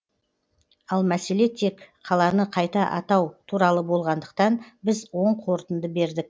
ал мәселе тек қаланы қайта атау туралы болғандықтан біз оң қорытынды бердік